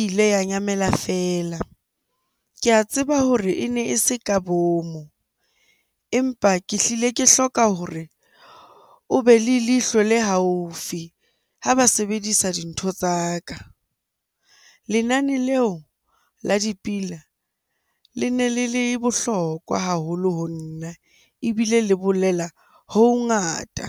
ile ya nyamela feela. Ke a tseba hore e ne e se ka bomo, empa ke hlile ke hloka hore o be le leihlo le haufi ha ba sebedisa dintho tsa ka. Lenane leo la dipina le ne le le bohlokwa haholo ho nna ebile le bolela ho ho ngata.